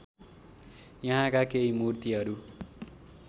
यहाँका केही मूर्तिहरू